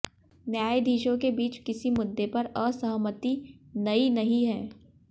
न्यायाधीशों के बीच किसी मुद्दे पर असहमति नई नहीं है